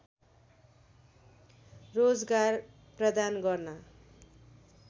रोजगार प्रदान गर्न